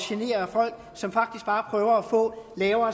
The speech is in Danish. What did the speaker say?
genere folk som faktisk bare prøver at få lavere